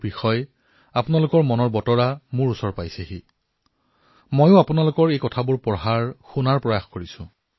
এই পৰামৰ্শসমূহ অধিক সংখ্যকত যাতে পঢ়িবলৈ পাও শুনিবলৈ পাও তাৰ বাবে মই প্ৰয়াস কৰিছো